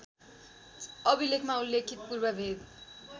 अभिलेखमा उल्लेखित पूर्वभेव